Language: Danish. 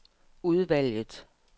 udvalget